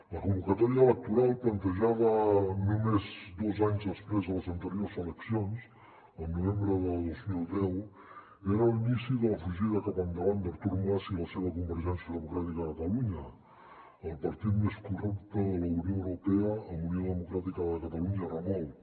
la convocatòria electoral plantejada només dos anys després de les anteriors eleccions el novembre de dos mil deu era l’inici de la fugida cap endavant d’artur mas i la seva convergència democràtica de catalunya el partit més corrupte de la unió europea amb unió democràtica de catalunya a remolc